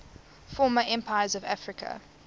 former empires of africa